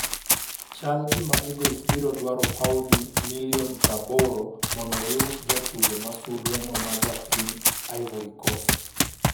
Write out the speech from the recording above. Chal gima Eagles biro dwaro pauni milioni ?80m mondo gi us jatugo ma sulwe no ma ja piny Ivory Coast.